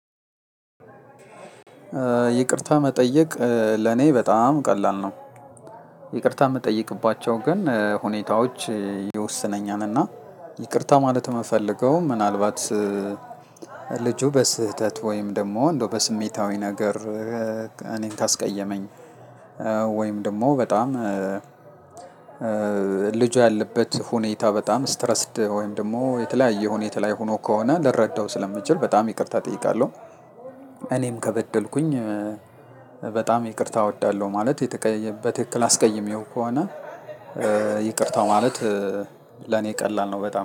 ይቅርታ መጠየቅ ለኔ በጣም ቀላል ነው። ይቅርታ የምጠይቅባቸው ግን ሁኔታዎች ይወስነኛልና ይቅርታ ማለት የምፈልገው ምናልባት ልጁ በስህተት ወይም ደግሞ እንደው በስሜታዊ ነገር እኔን ካስቀየመኝ ወይም ደግሞ በጣም ልጁ ያለበት ሁኔታ በጣም ስትረስድ ወይም ደግሞ የተለያየ ሁኔታ ላይ ሆኖ ከሆነ ልረዳው ስለምችል በጣም ይቅርታ እጠይቃለሁ። እኔም ከበደልኩኝ በጣም ይቅርታ እወዳለሁ ማለት በትክክል አስቀይሜው ከሆነ ይቅርታው ማለት ለኔ ቀላል ነው በጣም